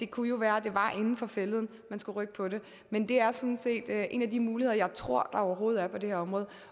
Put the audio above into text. kunne være at det var inden for fælleden at man skulle rykke på det men det er sådan set en af de muligheder jeg tror der overhovedet er på det her område